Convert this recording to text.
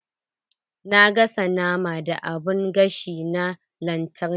Na gasa naman da abun gashi na lantarki.